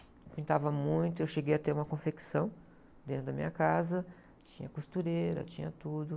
Eu pintava muito, eu cheguei a ter uma confecção dentro da minha casa, tinha costureira, tinha tudo.